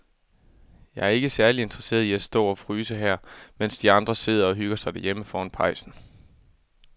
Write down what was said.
Jeg er ikke særlig interesseret i at stå og fryse her, mens de andre sidder og hygger sig derhjemme foran pejsen.